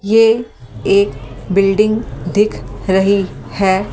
ये एक बिल्डिंग दिख रही है।